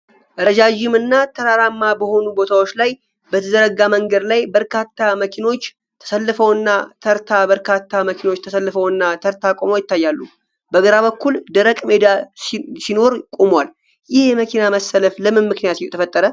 ረጃጅምና ተራራማ በሆኑ ቦታዎች ላይ በተዘረጋ መንገድ ላይ፣ በርካታ መኪኖች ተሰልፈውና ተርታ በርካታ መኪኖች ተሰልፈውና ተርታ ቆመው ይታያሉ፣ በግራ በኩል ደረቅ ሜዳ ሲኖር ቆመዋል። ይህ የመኪና መሰለፍ ለምን ምክንያት ተፈጠረ?